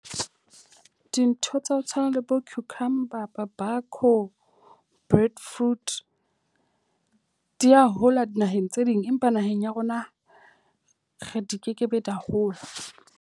Dintho tsa ho tshwana le bo cucumber food di a hola dinaheng tse ding. Empa naheng ya rona re di kekebe di a hola.